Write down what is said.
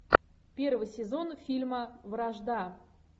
первый сезон фильма вражда